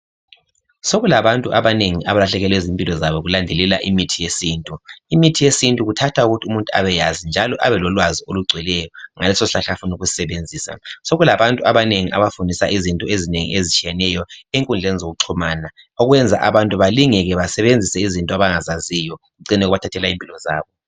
Sokulabantu abanengi abalahlekelwe zimpilo zabo ngokulandelela imithi yesintu. Imithi yesintu kuthatha ukuthi umuntu abeyazi njalo abe lolwazi olugcweleyo ngaleso sihlahla afauna ukusisebenzisa. Sokulabantu abanengi abafundisa izinto ezinengi ezitshiyeneyo enkundleni zokuxhumana okwenza abantu balingeke basebenzise izinto abangazaziyo, kucine kubathathela impilo zabo.